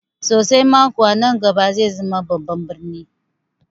Sosai ma kuwa, nan gaba zai zama babban birni